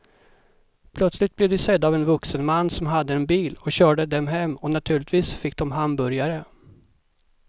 Plötsligt blev de sedda av en vuxen man som hade en bil och körde dem hem och naturligtvis fick de hamburgare.